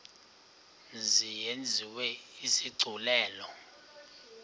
mzi yenziwe isigculelo